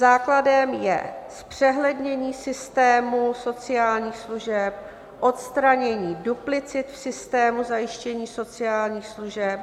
Základem je zpřehlednění systému sociálních služeb, odstranění duplicit v systému zajištění sociálních služeb.